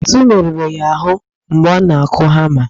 Ntu merụrụ ya ahụ mgbe ọ na-akụ hama